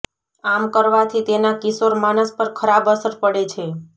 આમ કરવાથી તેના કિશોર માનસ પર ખરાબ અસર પડે છે